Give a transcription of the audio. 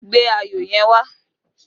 Gbe ayọ̀ yẹn wá!